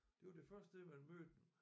Det var det første sted man mødte dem